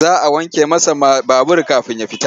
Za a wanke masa babur kafin ya fita.